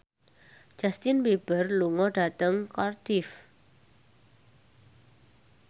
Justin Beiber lunga dhateng Cardiff